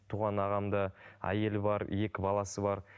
туған ағамда әйелі бар екі баласы бар